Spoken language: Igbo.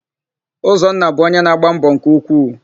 Ụzọnna bụ ọnye na-agba mbọ nke ukwuu.